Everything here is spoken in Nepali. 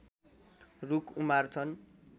रुख उमार्छन्